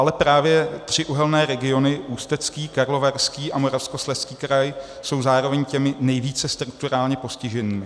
Ale právě tři uhelné regiony, Ústecký, Karlovarský a Moravskoslezský kraj, jsou zároveň těmi nejvíce strukturálně postiženými.